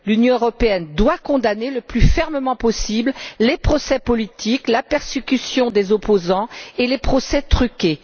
L'Union européenne doit condamner le plus fermement possible les procès politiques, la persécution des opposants et les procès truqués.